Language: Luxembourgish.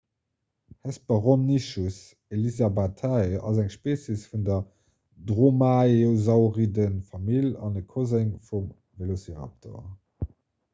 hesperonychus elizabethae ass eng species vun der dromaeosauriden-famill an e koseng vum velociraptor